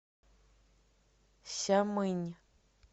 сямынь